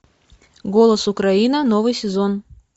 голос украина новый сезон